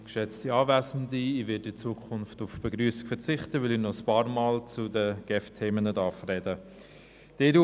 Deshalb unterstützt ein Teil der EVP das Postulat.